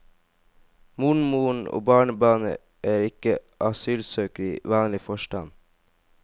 Mormoren og barnebarnet er ikke asylsøkere i vanlig forstand.